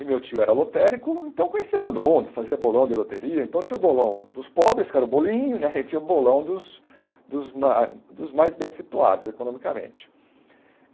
E meu tio era lotérico, então eu conhecia todo mundo, fazia bolão de loteria, então tinha o bolão dos pobres, que era o bolinho né, e tinha o bolão dos dos ma dos mais bem situados economicamente.